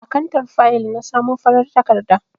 A kantar fayil na samo farar takarda.